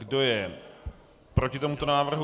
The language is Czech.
Kdo je proti tomuto návrhu?